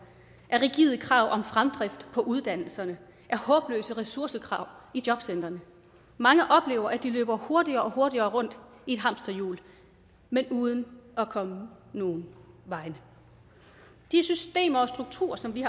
af rigide krav om fremdrift på uddannelserne af håbløse ressourcekrav i jobcentrene mange oplever at de løber hurtigere og hurtigere rundt i et hamsterhjul men uden at komme nogen vegne de systemer og strukturer som vi